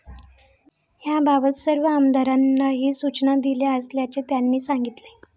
याबाबत सर्व आमदारांनाही सूचना दिल्या असल्याचे त्यांनी सांगितले.